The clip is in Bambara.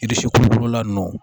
kolokolola nunnu